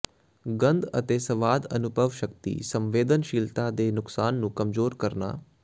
ਗੰਧ ਅਤੇ ਸਵਾਦ ਅਨੁਭਵ ਸ਼ਕਤੀ ਸੰਵੇਦਨਸ਼ੀਲਤਾ ਦੇ ਨੁਕਸਾਨ ਨੂੰ ਕਮਜ਼ੋਰ ਕਰਨਾ